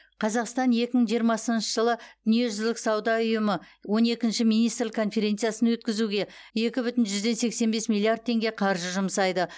қазақстан екі мың жиырмасыншы жылы дүниежүзілік сауда ұйымы он екінші министрлік конференциясын өткізуге екі бүтін жүзден сексен бес миллиард теңге қаржы жұмсайды